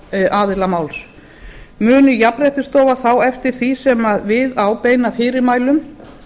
frá aðila máls mun jafnréttisstofa þá eftir því sem við á beina fyrirmælum